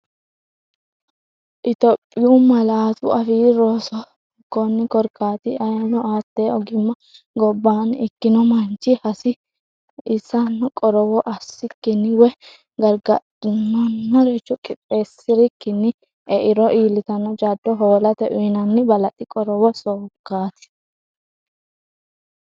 Itophiyu Malaatu Afii Roso Konni korkaati, ayeeno hatte ogimma gobbaanni ikkino manchi hasi- issanno qorowo assikkinni woy gargadhinanniricho qixxeessirikkinni eiro iillitanno jaddo hoolate uyinanni balaxi qorowo sokkaati.